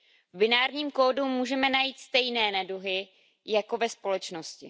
V binárním kódu můžeme najít stejné neduhy jako ve společnosti.